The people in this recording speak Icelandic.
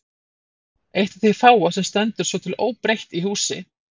Eitt af því fáa sem stendur svo til óbreytt í húsi